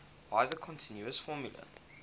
by the continuous formula